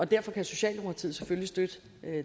derfor kan socialdemokratiet selvfølgelig støtte